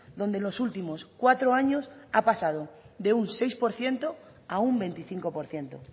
donde en los últimos cuatro años ha pasado de seis por ciento a un veinticinco por ciento